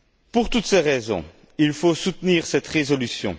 Pour toutes ces raisons, il faut soutenir cette résolution.